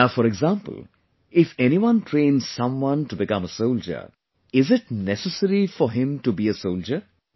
Now for example if anyone trains someone to become a soldier, is it necessary for him to be a soldier